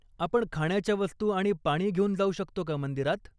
आपण खाण्याच्या वस्तू आणि पाणी घेऊन जाऊ शकतो का मंदिरात?